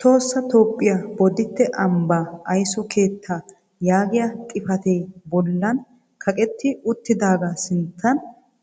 Tohossa Toophphiya bodditte ambba ayiso keettaa yaagiya xifate bollan kaqetti uttidaaga sintta